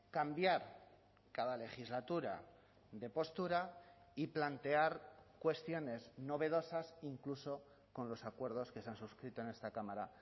cambiar cada legislatura de postura y plantear cuestiones novedosas incluso con los acuerdos que se han suscrito en esta cámara